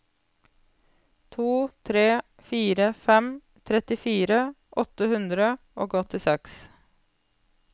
to tre fire fem trettifire åtte hundre og åttiseks